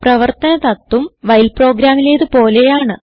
പ്രവർത്തന തത്ത്വം വൈൽ പ്രോഗ്രാമിലേത് പോലെയാണ്